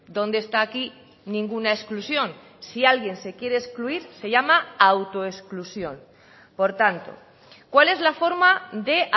dónde está aquí ninguna exclusión si alguien se quiere excluir se llama autoexclusión por tanto cuál es la forma de